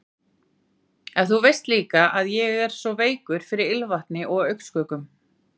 En þú veist líka að ég er svo veikur fyrir ilmvatni og augnskuggum.